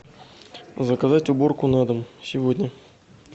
заказать уборку на дом сегодня